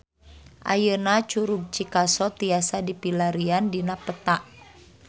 Ayeuna Curug Cikaso tiasa dipilarian dina peta